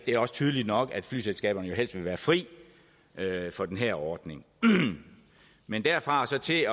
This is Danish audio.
er også tydeligt nok at flyselskaberne jo helst vil være fri for den her ordning men derfra og så til